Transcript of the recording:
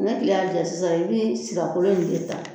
Ne kile y'a ja sisan i bi sirakolo in de ta